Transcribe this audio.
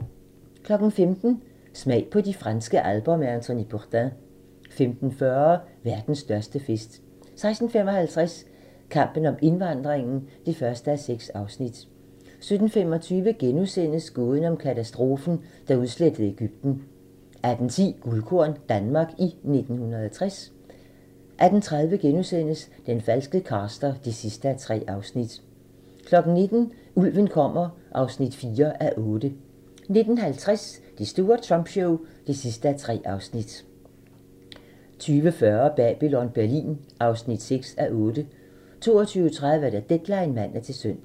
15:00: Smag på de franske alper med Anthony Bourdain 15:40: Verdens største fest 16:55: Kampen om indvandringen (1:6) 17:25: Gåden om katastrofen, der udslettede Egypten * 18:10: Guldkorn - Danmark i 1960 18:30: Den falske caster (3:3)* 19:00: Ulven kommer (4:8) 19:50: Det store Trump show (3:3) 20:40: Babylon Berlin (6:8) 22:30: Deadline (man-søn)